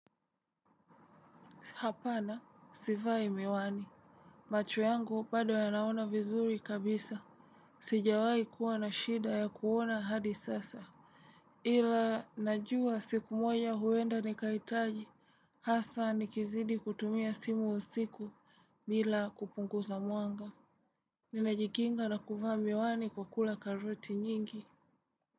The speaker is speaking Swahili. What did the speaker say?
Hapana sivai miwani macho yangu bado yanaona vizuri kabisa sijawai kuwa na shida ya kuona hadi sasa ila najua siku moja huenda nikahitaji hasa nikizidi kutumia simu usiku. Bila kupunguza mwanga, ninajikinga na kuvaa miwani kwa kula karoti nyingi.